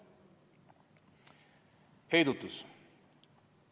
Heidutus.